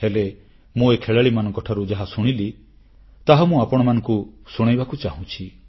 ହେଲେ ମୁଁ ଏ ଖେଳାଳିମାନଙ୍କଠାରୁ ଯାହା ଶୁଣିଲି ତାହା ମୁଁ ଆପଣମାନଙ୍କୁ ଶୁଣାଇବାକୁ ଚାହୁଁଛି